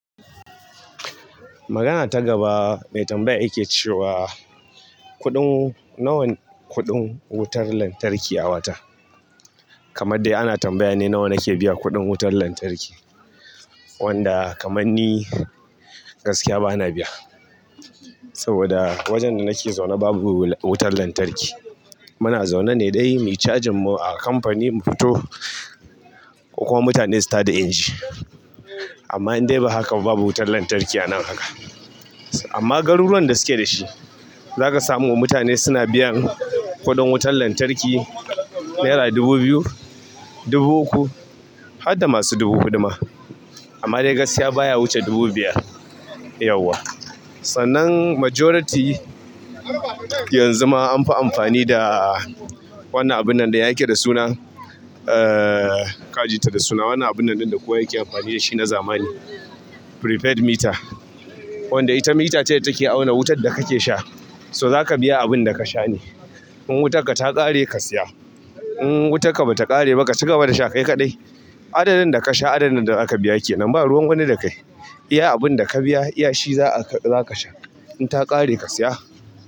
Magana ta gaba mai tambaya yake cewa kuɗin, nawa ne kuɗin wutar lantarki a wata? Kamar dai ana tambaya ne nawa nake biya kuɗin wutar lantarki. Wanda kaman ni gaskiya bana biya. Saboda wajen da nake zaune babu wutar lantarki. Muna zaune ne dai mu cajin mu a kamfani mu fito ko kuma mutane su tada inji. Amma indai ba haka ba babu wutan lantarki a nan haka amma garuruwan da suke da shi, zaka samu mutane suna biyan kuɗin wutar lantarki nera dubu biyu, dubu uku har da masu dubu huɗu ma. Amma dai gaskiya baya wuce dubu biyar yauwa. Sannan majority yanzu ma an fi amfani da wannan abun nan dai yake da suna, ah ka ji ta da suna wannan abun nan ɗin da kowa yake amfani da shi na zamani prepaid meter. Wanda ita mita ce da take auna wutar da kake sha. To zaka biya abunda ka sha ne in wutarka ta ƙare ka siya, in wutarka bata ƙare ba ka ci gaba da sha kai kaɗai. Adadin da ka sha adadin da zaka biya kenan ba ruwan wani da kai. Iya abunda ka biya iya shi za a zaka sha in ta ƙare ka siya.